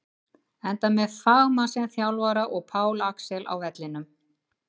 Enda með fagmann sem þjálfara og Pál Axel á vellinum!